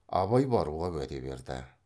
абай баруға уәде берді